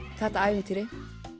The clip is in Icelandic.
þetta ævintýri